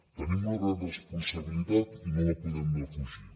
tenim una gran responsabilitat i no la podem defugir